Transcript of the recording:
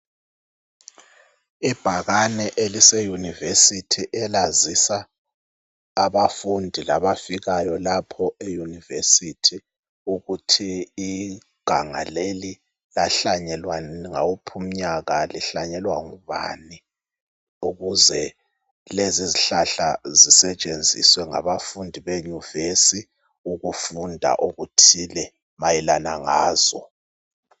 Ibhakane elise yunivesithi elazisa abafundi labafikayo lapho eyunivesithi ukuthi iganga leli lahlanyelwa ngawuphi umnyaka lihlanyelwa ngubani ukuze lezi izihlahla zisetshenziswe ngabafundi beyuvesi ukufunda okuthile mayelana ngazo.